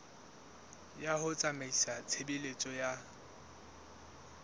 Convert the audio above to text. ya ho tsamaisa tshebeletso ya